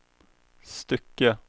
stycke